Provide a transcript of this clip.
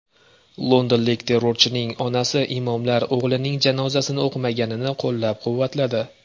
Londonlik terrorchining onasi imomlar o‘g‘lining janozasini o‘qimaganini qo‘llab-quvvatladi.